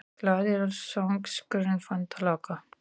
GLAÐI GULRÓTARSÖNGURINNFANDALAGGAHOJ